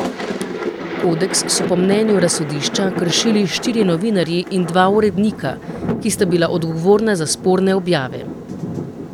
Kodeks so po mnenju razsodišča kršili štirje novinarji in dva urednika, ki sta bila odgovorna za sporne objave.